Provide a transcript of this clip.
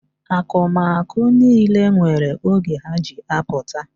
Akụmakụ niile nwere oge ha ji apụta.